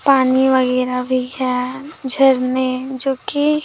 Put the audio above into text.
पानी वगैरा भी है झरने जो कि।